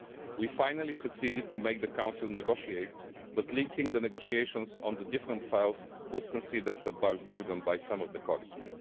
We finally succeeded in making the Council negotiate, but linking the negotiations on the different files was considered a burden by some colleagues.